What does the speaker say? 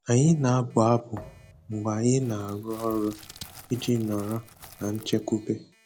Anyị na-abụ abụ mgbe anyị na-arụ ọrụ iji nọrọ na nchekwube.